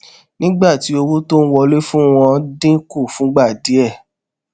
nígbà tí owó tó ń wọlé fún wọn dín kù fúngbà díè